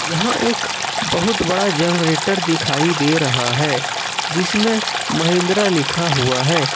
यहां एक बहुत बड़ा जनरेटर दिखाई दे रहा है जिसमें महिंद्रा लिखा हुआ है।